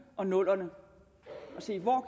og 00’erne og se